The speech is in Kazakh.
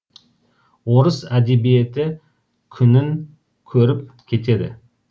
орыс әдебиеті күнін көріп кетеді